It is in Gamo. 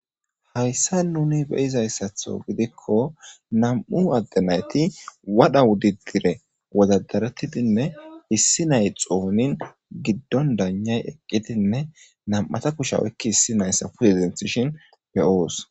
hayssa nuni beyizayssatho gidikko nam7u adde nayti wadha wudidire wodadarettidinne issi nay xoonin giddon danay eqqidinne nam7ata kushe oykki hissi nayssa puyezintishin beyoos